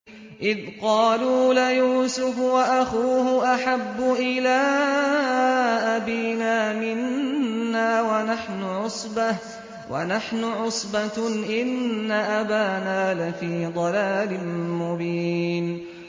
إِذْ قَالُوا لَيُوسُفُ وَأَخُوهُ أَحَبُّ إِلَىٰ أَبِينَا مِنَّا وَنَحْنُ عُصْبَةٌ إِنَّ أَبَانَا لَفِي ضَلَالٍ مُّبِينٍ